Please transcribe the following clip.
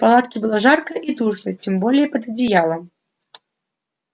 в палатке было жарко и душно тем более под одеялом